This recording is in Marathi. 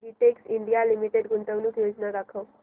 बेटेक्स इंडिया लिमिटेड गुंतवणूक योजना दाखव